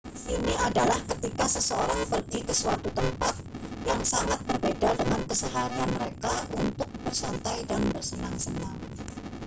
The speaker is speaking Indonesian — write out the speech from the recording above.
ini adalah ketika seseorang pergi ke suatu tempat yang sangat berbeda dengan keseharian mereka untuk bersantai dan bersenang-senang